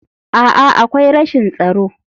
A'a, akwai rashin tsaro.